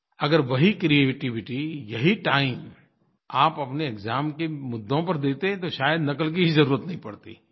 अगर वही क्रिएटिविटी यही टाइम आप अपने एक्साम के मुद्दों पर देते तो शायद नक़ल की ही ज़रुरत नहीं पड़ती